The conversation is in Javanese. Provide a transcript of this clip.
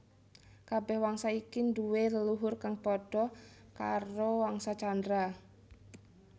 Kabèh wangsa iki duwé leluhur kang padha karo Wangsa Candra